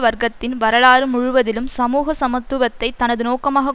வர்க்கத்தின் வரலாறு முழுவதிலும் சமூக சமத்துவத்தை தனது நோக்கமாக